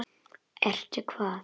Ertu hvað?